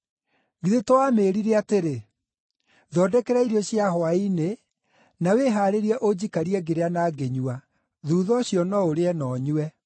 Githĩ to amĩĩrire atĩrĩ, ‘Thondekera irio cia hwaĩ-inĩ, na wĩhaarĩrie ũnjikarie ngĩrĩa na ngĩnyua; na thuutha ũcio no ũrĩe na ũnyue’?